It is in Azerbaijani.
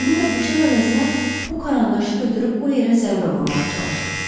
İndi də bıçaq əvəzinə bu karandaşı götürüb o yerə zərbə vurmağa çalışıb.